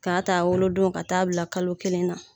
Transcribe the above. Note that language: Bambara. K'a' ta wolo don ka taa bila kalo kelen na.